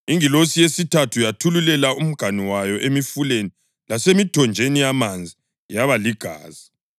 Ingilosi yesithathu yathululela umganu wayo emifuleni lasemithonjeni yamanzi yaba ligazi.